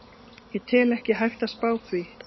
Ég tel ekki hægt að spá því.